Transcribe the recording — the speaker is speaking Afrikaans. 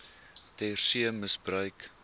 ter see misbruik